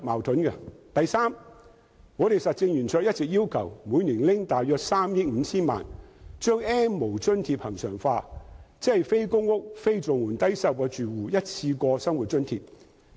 第三，實政圓桌一直要求每年撥出約3億 5,000 萬元把 "N 無"津貼恆常化，即非公屋、非綜援、低收入住戶的一次過生活津貼。